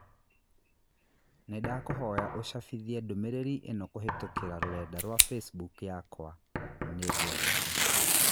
Nĩndakũhoya úcabithia ndũmĩrĩri ĩnokũhītũkīra rũrenda rũa facebook yakwa. Nĩngwendete.